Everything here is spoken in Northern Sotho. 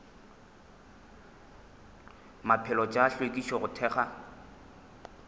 maphelo tša hlwekišo go thekga